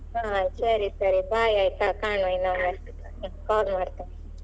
ಹಾ ಸರಿ ಸರಿ bye ಆಯ್ತಾ ಕಾಣುವ ಇನ್ನೊಮ್ಮೆ call ಮಾಡ್ತೇನೆ.